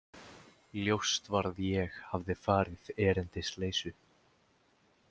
Ljóst var að ég hafði farið erindisleysu.